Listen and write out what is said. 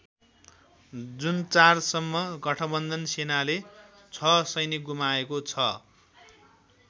जुन ४ सम्म गठबन्धन सेनाले ६ सैनिक गुमाएको छ।